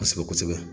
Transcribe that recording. Kosɛbɛ kosɛbɛ